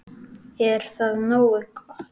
Er það nógu gott?